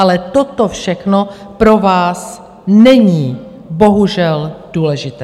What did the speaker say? Ale toto všechno pro vás není bohužel důležité.